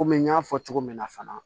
Komi n y'a fɔ cogo min na fana